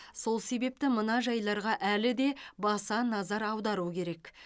сол себепті мына жайларға әлі де баса назар аудару керек